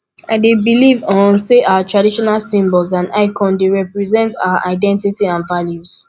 i dey believe um say our traditional symbols and icons dey represent our our identity and values